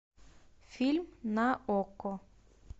фильм на окко